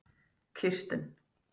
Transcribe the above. Kirsten